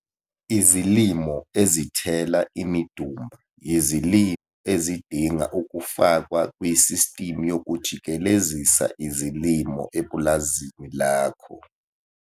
Izilimo ezithela imidumba yizilimo ezidinga ukufakwa kusistimu yokujikelezisa izilimo epulazini lakho.